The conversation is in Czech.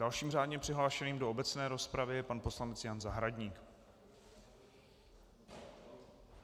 Dalším řádně přihlášeným do obecné rozpravy je pan poslanec Jan Zahradník.